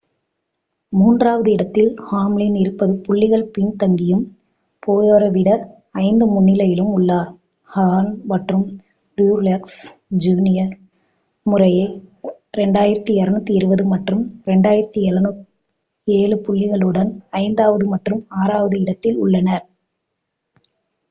மூன்றாவது இடத்தில் ஹாம்லின் இருபது புள்ளிகள் பின்தங்கியும் போயரை விட ஐந்து முன்னிலையிலும் உள்ளார் கஹ்னே மற்றும் ட்ரூயெக்ஸ் ஜூனியர் முறையே 2,220 மற்றும் 2,207 புள்ளிகளுடன் ஐந்தாவது மற்றும் ஆறாவது இடத்தில் உள்ளனர்